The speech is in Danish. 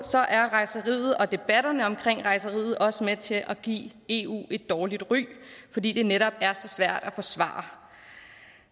er rejseriet og debatterne omkring rejseriet også med til at give eu et dårligt ry fordi det netop er så svært at forsvare